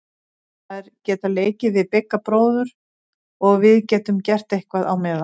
Þær geta leikið við Bigga bróður og við getum gert eitthvað á meðan.